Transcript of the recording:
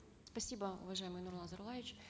спасибо уважаемый нурлан зайроллаевич